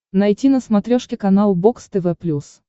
найти на смотрешке канал бокс тв плюс